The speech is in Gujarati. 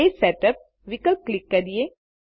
પેજ સેટઅપ વિકલ્પ ક્લિક કરીએ